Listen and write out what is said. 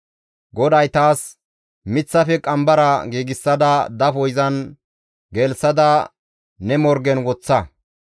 GODAY taas, «Miththafe qambara giigsada dafo izan gelththada ne morgen woththa.